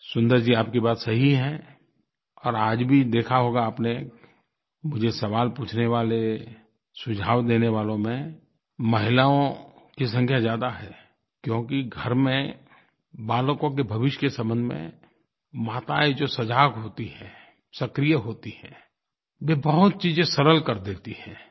सुन्दर जी आपकी बात सही है और आज भी देखा होगा आपने मुझे सवाल पूछने वाले सुझाव देने वालों में महिलाओं की संख्या ज़्यादा है क्योंकि घर में बालकों के भविष्य के संबंध में मातायें जो सजग होती हैं सक्रिय होती हैं वे बहुत चीज़ें सरल कर देती हैं